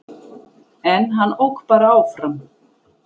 En hann ók bara áfram